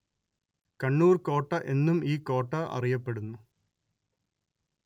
കണ്ണൂര്‍ കോട്ട എന്നും ഈ കോട്ട അറിയപ്പെടുന്നു